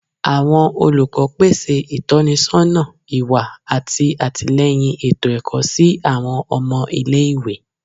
Awọn olukọ pese itọnisọna iwa ati atilẹyin eto-ẹkọ si awọn ọmọ ile-iwe